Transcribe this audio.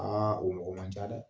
Aa o mɔgɔ man ca dɛ